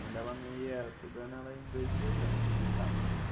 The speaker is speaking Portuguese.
Quando ela não ia todo ano, ela ia em dois e dois anos visitar.